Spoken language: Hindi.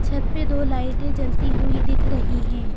छत पे दो लाइटें जलती हुई दिख रही हैं।